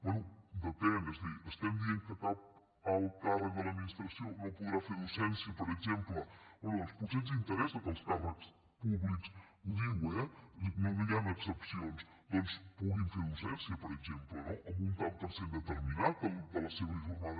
bé depèn és a dir estem dient que cap alt càrrec de l’administració no podrà fer docència per exemple bé doncs potser ens interessa que els càrrecs públics ho diu eh no hi han excepcions doncs puguin fer docència per exemple no en un tant per cent determinat de la seva jornada